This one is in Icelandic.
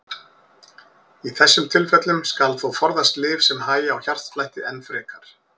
Í þessum tilfellum skal þó forðast lyf sem hægja á hjartslætti enn frekar.